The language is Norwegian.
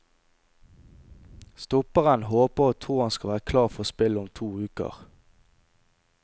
Stopperen håper og tror han skal være klar for spill om to uker.